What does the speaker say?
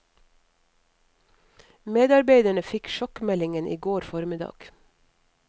Medarbeiderne fikk sjokkmeldingen i går formiddag.